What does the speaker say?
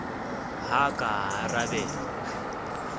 ha a ka a arabela